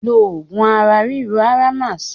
Lo oògùn ara ríro Aramac!